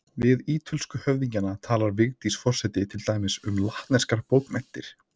Við ítölsku höfðingjana talar Vigdís forseti til dæmis um latneskar bókmenntir.